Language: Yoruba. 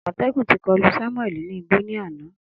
Amotekun ti kolu Samuel ni igbo ni ana.